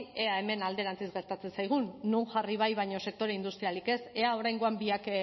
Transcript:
ea hemen alderantziz gertatzen zaigun non jarri bai baina sektore industrialik ez ea oraingoan biak